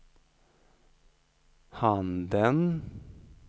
handen